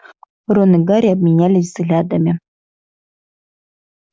рон и гарри обменялись взглядами